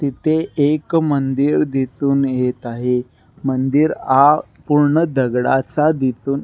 तिथे एक मंदिर दिसुन येत आहे मंदिर आ पुर्ण दगडाचा दिसुन.